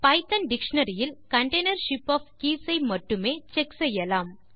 Python dictionary இல் container ship of keys ஐ மட்டுமே செக் செய்யலாம்